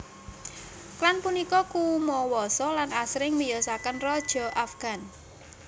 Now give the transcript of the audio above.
Klan punika kumawasa lan asring miyosaken raja Afgan